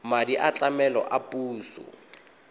madi a tlamelo a puso